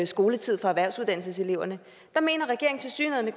skoletid for erhvervsuddannelseseleverne der mener regeringen tilsyneladende at